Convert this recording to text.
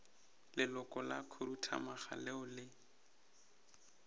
leloko la khuduthamaga leo le